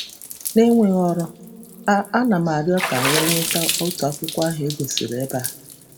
Na-enweghị ọrụ, a a na m arịọ ka e nweta otu akwụkwọ ahụ egosiri ebe a.